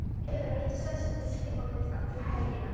Hefur ekki sest við skrifborðið alla helgina.